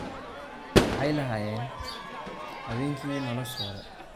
"Waxay lahaayeen habeenkii noloshooda."